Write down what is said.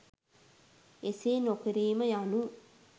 එසේ නොකිරීම යනු